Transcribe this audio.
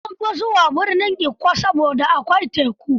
Sun fi zuwa birnin Ikko saboda akwai teku.